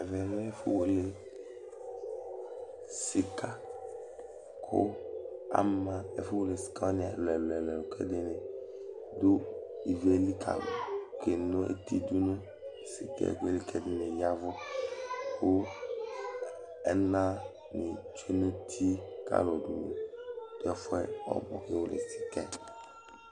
Ɛvɛ lɛ ɛfʋ wele sika, kʋ ama ɛfʋ wele sikawani ɛlʋ ɛlʋ, ɛlʋ k'ɛɖini dʋ ivi yɛ li k'akeno eti dʋ nʋ sika ɛdi yɛ li k'ɛɖini yavʋ kʋ ɛnani tsue n'uti k'alʋ kafua ɔbʋ kewele sika yɛ